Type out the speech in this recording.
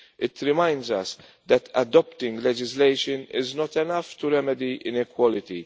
It reminds us that adopting legislation is not enough to remedy inequality.